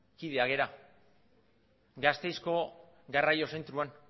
kideak gara gasteizko garraio zentroan